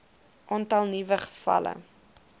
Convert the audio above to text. aantal nuwe gevalle